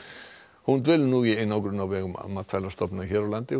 hún dvelur nú í einangrun á vegum Matvælastofnunar hér á landi og